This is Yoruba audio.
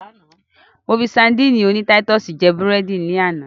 Mo fi sadíìnì oní táítọ̀sì jẹ́ búrẹ́dì lánàá.